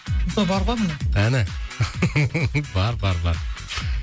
сол бар ғой міне әні бар бар бар